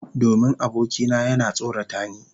Domin abokina yana tsorata ni.